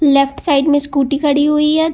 Left side में scooty खड़ी हुई है।